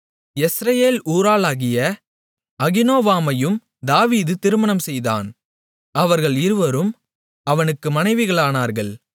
யெஸ்ரயேல் ஊராளாகிய அகினோவாமையும் தாவீது திருமணம் செய்தான் அவர்கள் இருவரும் அவனுக்கு மனைவிகளானார்கள்